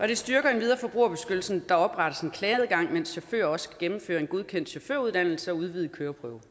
det styrker endvidere forbrugerbeskyttelsen at der oprettes en klageadgang og at chauffører også skal gennemføre en godkendt chaufføruddannelse og udvidet køreprøve